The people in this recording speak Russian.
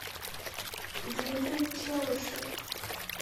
дмитрий челышев